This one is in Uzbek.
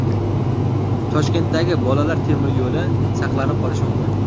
Toshkentdagi Bolalar temir yo‘li saqlanib qolishi mumkin.